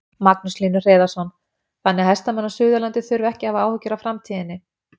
Magnús Hlynur Hreiðarsson: Þannig að hestamenn á Suðurlandi þurfa ekki að hafa áhyggjur af framtíðinni?